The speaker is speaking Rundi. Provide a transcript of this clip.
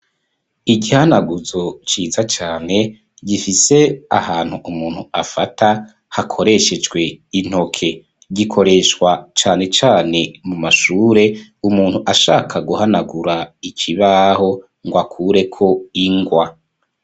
Igihanaguzo ciza cane gifise ahantu umuntu afata hakoreshejwe intoke gikoreshwa cyane cyane mu mashure umuntu ashaka guhanagura ikibaho ngo akureko ingwa.